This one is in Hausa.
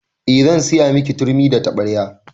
Eh zan siya miki turmi da taɓarya